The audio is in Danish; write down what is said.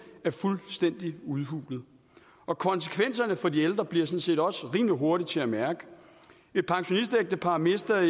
er fuldstændig udhulet og konsekvenserne for de ældre bliver sådan set også rimelig hurtigt til at mærke et pensionistægtepar mister